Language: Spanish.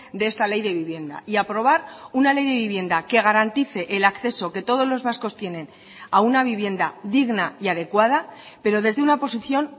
de esta ley de vivienda y aprobar una ley de vivienda que garantice el acceso que todos los vascos tienen a una vivienda digna y adecuada pero desde una posición